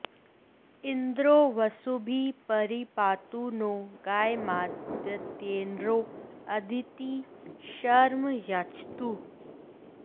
इन्द्रो वसुभिः परि पातु नो गयमादित्यैर्नो अदितिः शर्म यच्छतु